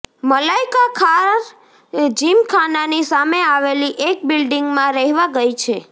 મલાઇકા ખાર જિમખાનાની સામે આવેલી એક બિલ્ડિંગમાં રહેવા ગઈ છે